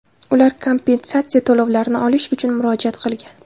Ular kompensatsiya to‘lovlarini olish uchun murojaat qilgan.